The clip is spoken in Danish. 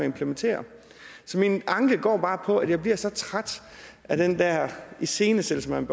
implementere så min anke går bare på at jeg bliver så træt af den der iscenesættelse man